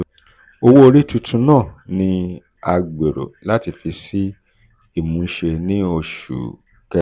owó orí tuntun náà ni a gbèrò láti fi si imuse ní oṣù kẹsán.